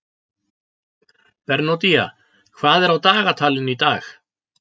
Bernódía, hvað er á dagatalinu í dag?